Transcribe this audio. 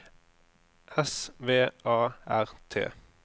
S V A R T